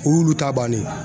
O y'olu ta bannen